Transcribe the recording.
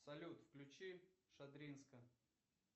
салют включи шадринска